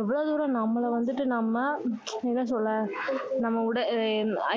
எவ்வளோ தூரம் நம்மள வந்துட்டு நம்ம என்ன சொல்ல நம்ம